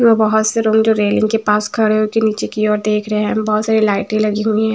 अ बहोत से लोग जो रेलिंग के पास खड़े हो के नीचे की ओर देख रहे हैं बहोत सारी लाइटे लगी हुई है।